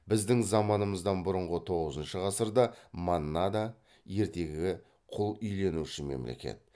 біздің заманымыздан бұрынғы тоғызыншы ғасырда маннада ертегі құл иеленуші мемлекет